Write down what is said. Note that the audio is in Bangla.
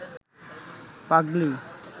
পাগলি